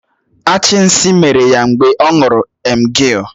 Achì nsí mèrè ya mgbe ọ ṅụrụ emgịl